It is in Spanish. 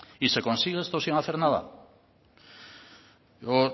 y se consigue estos sin hacer nada yo